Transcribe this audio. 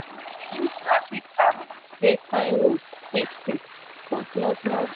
i dey use traffic app take find road quick quick for small small street